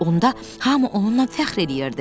Onda hamı onunla fəxr eləyirdi.